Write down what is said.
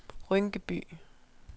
Rynkeby